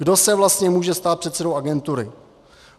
Kdo se vlastně může stát předsedou agentury?